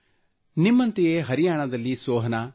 ನಿಮ್ಮಂತೆಯೇ ಹರಿಯಾಣದಲ್ಲಿ ಸೋಹನಾ ಕೆ